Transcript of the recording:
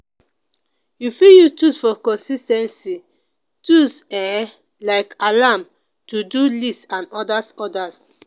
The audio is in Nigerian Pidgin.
you fit use tools for consis ten cy tools um like alarm to do list and odas odas